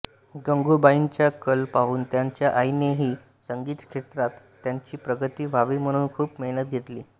गंगूबाईंचा कल पाहून त्यांच्या आईनेही संगीत क्षेत्रात त्यांची प्रगती व्हावी म्हणून खूप मेहनत घेतली